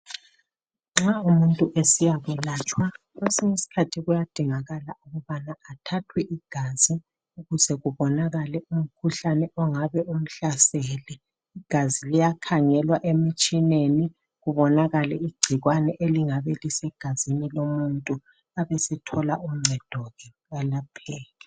Nxa umuntu esiyakwelatshwa kuyadingakala ukuba athathwe igazi kubonakale umkhuhlane ongabe umhlasele. Igazinliyakhangelwa emtshineni kubonakale igcikwane elingabe lisemzibeni womuntu abesethola uncedo ke alapheke.